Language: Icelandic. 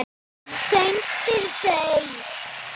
Söng fyrir þau.